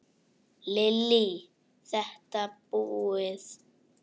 Lillý:. þetta búið?